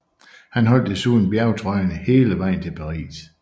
Han holdt desuden bjergtrøjen hele vejen til Paris